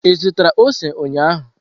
Ị zụtara ose ụnyahụ?